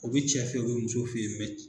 O bi cɛ fe ye o be muso fe ye